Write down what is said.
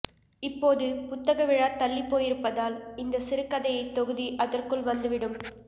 இப்போது புத்தக விழா தள்ளிப் போயிருப்பதால் இந்த சிறுகதைத் தொகுதி அதற்குள் வந்து விடும்